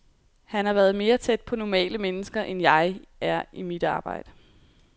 Han være mere tæt på normale mennesker end jeg er i mit arbejde.